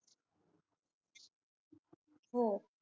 हो